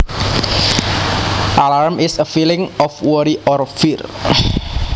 Alarm is a feeling of worry or fear